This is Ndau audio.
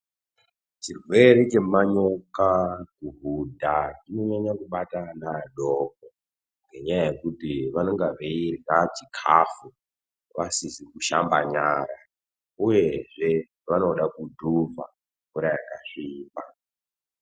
Chirwere chemanyoka kuhudha chinonyanya kubata ana adoko. Ngenyaya yekuti vanenge veidyra chikafu vasizi kushamba nyara. Uyezve vanoda kudhuvha mvura yakasvipa.